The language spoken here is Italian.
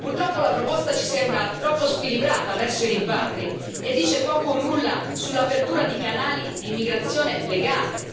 Purtroppo, la proposta ci sembra troppo squilibrata verso i rimpatri e dice poco o nulla sull'apertura di canali di immigrazione legale.